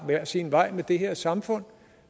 hver sin vej med det her samfund